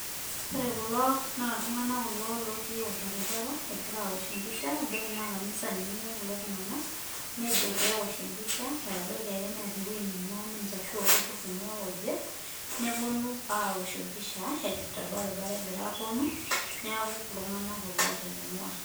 Ore kulo naa iltunganak kulo lotii orbaribara egira awosh episha abaiki naa kanisa ninye einguaa kulo tunganak nejo pee ewosh episha abaiki ake netaa ewueji neingua ninche ashu oltururu oingwaa oje neponu awosh episha torbaribara egira aponu neaku iltunganak kulo oota eneingua .